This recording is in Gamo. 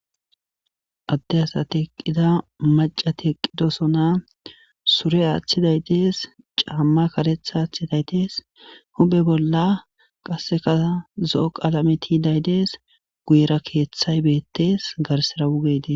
Adde asati eqqida maca ti eqqidosona sure aaththiday tees caamma karetha aaththiday tees hube bolla qasseka zo7o qalametiidaydees guyera keeththay beettes garsera wugedes.